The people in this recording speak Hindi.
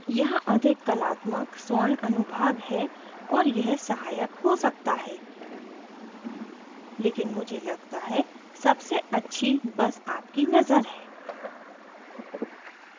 यहाँ अधिक कलात्मक स्वर्ण अनुभाग है और यह सहायक हो सकता है लेकिन मुझे लगता है सबसे अच्छी बस आपकी नजर है